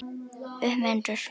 Upp með hendur!